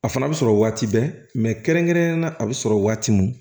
A fana bɛ sɔrɔ waati bɛɛ kɛrɛnkɛrɛnnenya la a bɛ sɔrɔ waati mun